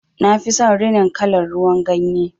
Nafi son rinin kalar ruwan ganye.